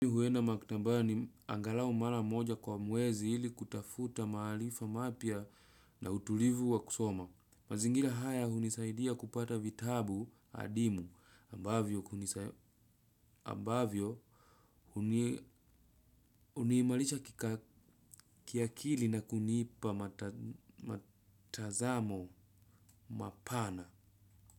Huenda maktabani angalau mara moja kwa mwezi ili kutafuta maarifa mapya na utulivu wa kusoma. Mazingira haya hunisaidia kupata vitabu adimu ambavyo ambavyo unimairisha kiakili na kunipa matazamo mapana.